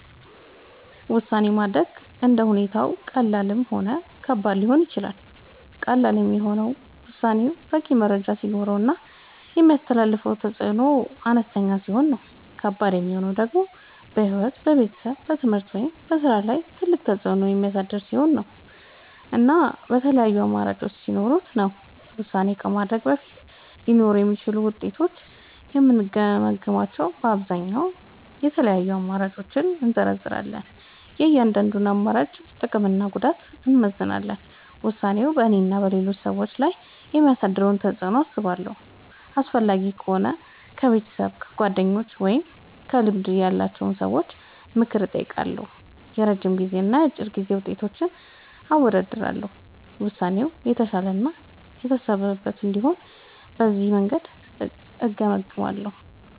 ውሳኔ ማድረግ እንደ ሁኔታው ቀላልም ሆነ ከባድም ሊሆን ይችላል። ቀላል የሚሆነው ውሳኔው በቂ መረጃ ሲኖረው እና የሚያስከትለው ተፅዕኖ አነስተኛ ሲሆን ነው። ከባድ የሚሆነው ደግሞ በሕይወት፣ በቤተሰብ፣ በትምህርት ወይም በሥራ ላይ ትልቅ ተፅዕኖ የሚያሳድር ሲሆን እና የተለያዩ አማራጮች ሲኖሩት ነው። ውሳኔ ከማድረግ በፊት ሊኖሩ የሚችሉትን ውጤቶች የምገመግመዉ በአብዛኛዉ፦ የተለያዩ አማራጮችን እዘረዝራለሁ። የእያንዳንዱን አማራጭ ጥቅምና ጉዳት አመዛዝናለሁ። ውሳኔው በእኔና በሌሎች ሰዎች ላይ የሚያመጣውን ተፅዕኖ አስባለሁ። አስፈላጊ ከሆነ ከቤተሰብ፣ ከጓደኞች ወይም ከልምድ ያላቸው ሰዎች ምክር እጠይቃለሁ። የረጅም ጊዜና የአጭር ጊዜ ውጤቶችን አወዳድራለሁ። ውሳኔው የተሻለ እና የታሰበበት እንዲሆን በዚህ መንገድ እገመግማለሁ።